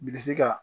Bilisi ka